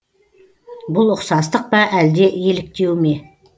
бұл ұқсастық па әлде еліктеу ме